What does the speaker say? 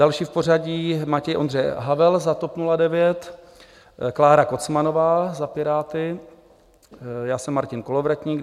Další v pořadí: Matěj Ondřej Havel za TOP 09, Klára Kocmanová za Piráty, já jsem Martin Kolovratník.